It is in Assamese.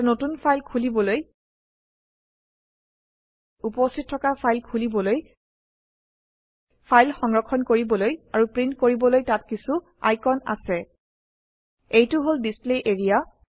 এটা নতুন ফাইল খুলিবলৈ উপস্হিত থকা ফাইল খুলিবলৈ ফাইল সংৰক্ষণ কৰিবলৈ আৰু প্ৰিন্ট কৰিবলৈ তাত কিছো আইকণ আছে এইটো হল ডিছপ্লে এৰিয়া